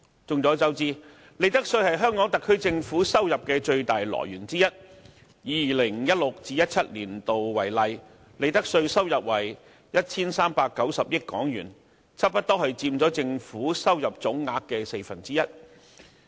眾所周知，利得稅是香港特區政府收入的最大來源之一，以 2016-2017 年度為例，利得稅收入為 1,390 億元，差不多佔政府收入總額的四分之一。